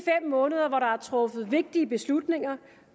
måneder hvor der er truffet vigtige beslutninger